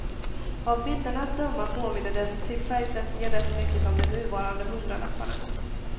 Av bilderna att döma påminner den till färgsättningen rätt mycket om de nuvarande hundralapparna.